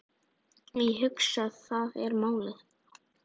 Ég hugsa, það er málið.